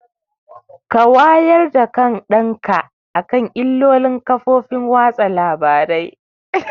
Ka wayar da kan ɗan ka akan illolin kafofar watsa labarai!